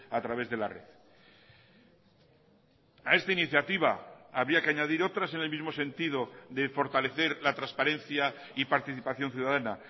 a través de la red a esta iniciativa había que añadir otras en el mismo sentido de fortalecer la transparencia y participación ciudadana